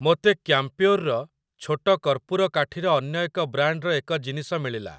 ମୋତେ କ୍ୟାମ୍ପ୍ୟୋର୍‌ର ଛୋଟ କର୍ପୂର କାଠି ର ଅନ୍ୟ ଏକ ବ୍ରାଣ୍ଡ୍‌‌‌ର ଏକ ଜିନିଷ ମିଳିଲା ।